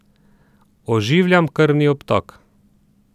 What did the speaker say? Oživljam krvni obtok.